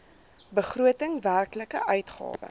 begroting werklike uitgawe